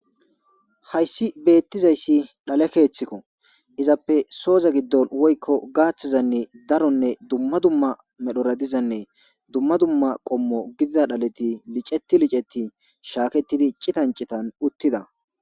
Haysi betizaysi dhale keetheko izappe soza gidon woyko gathazani Daronne duma duma medhora dizanne duma duma qomo gidiza dhaleti liceti licetidi shaketidi citan citan uttida